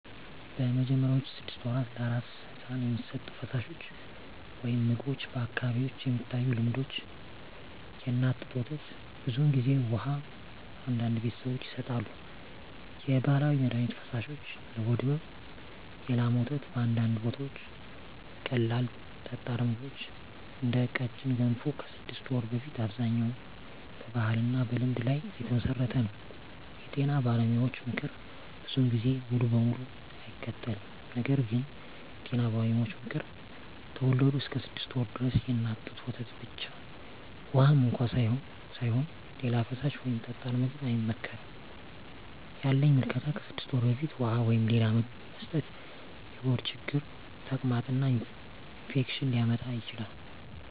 በመጀመሪያዎቹ 6 ወራት ለአራስ ሕፃን የሚሰጡ ፈሳሾች/ምግቦች በአካባቢዎች የሚታዩ ልምዶች፦ የእናት ጡት ወተት (ብዙ ጊዜ) ውሃ (አንዳንድ ቤተሰቦች ይሰጣሉ) የባህላዊ መድሀኒት ፈሳሾች (ለሆድ ሕመም) የላም ወተት (በአንዳንድ ቦታዎች) ቀላል ጠጣር ምግቦች (እንደ ቀጭን ገንፎ) ከ6 ወር በፊት አብዛኛው በባህልና በልምድ ላይ የተመሠረተ ነው የጤና ባለሙያዎች ምክር ብዙ ጊዜ ሙሉ በሙሉ አይከተልም ነገር ግን የጤና ባለሙያዎች ምክር፦ ከተወለዱ እስከ 6 ወር ድረስ የእናት ጡት ወተት ብቻ (ውሃም እንኳ ሳይሆን) ሌላ ፈሳሽ ወይም ጠጣር ምግብ አይመከርም ያለኝ ምልከታ ከ6 ወር በፊት ውሃ ወይም ሌላ ምግብ መስጠት የሆድ ችግር፣ ተቅማጥ እና ኢንፌክሽን ሊያመጣ ይችላል